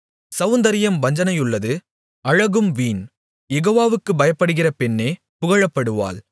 செளந்தரியம் வஞ்சனையுள்ளது அழகும் வீண் யெகோவாவுக்குப் பயப்படுகிற பெண்ணே புகழப்படுவாள்